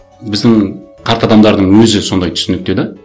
біздің қарт адамдардың өзі сондай түсінікте де